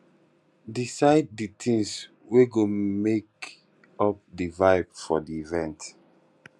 decide the things wey go make up di vibe for di event